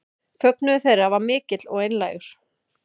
Fögnuður þeirra var mikill og einlægur